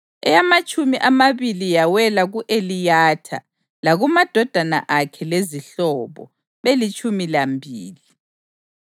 eyamatshumi amabili yawela ku-Eliyatha, lakumadodana akhe lezihlobo, belitshumi lambili;